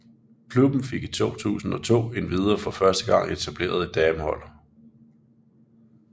Klubben fik i 2002 endvidere for første gang etableret et damehold